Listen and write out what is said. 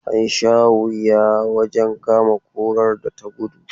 An sha wuya wajen kama kurar da ta gudu.